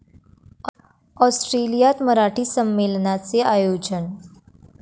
ऑस्ट्रेलियात मराठी संमेलनाचे आयोजन